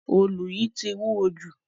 Òòlù yìí tì wúwọ́ jù.